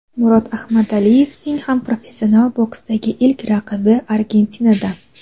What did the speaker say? Murod Ahmadaliyevning ham professional boksdagi ilk raqibi Argentinadan.